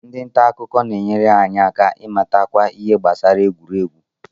Ndị nta akụkọ na-enyere anyị aka ịmatakwu ihe gbasara egwuregwu